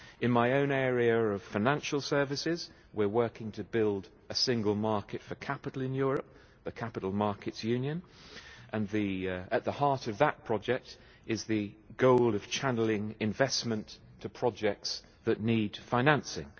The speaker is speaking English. In my own area of financial services we are working to build a single market for capital in Europe the capital markets union and at the heart of that project is the goal of channelling investment to projects that need financing.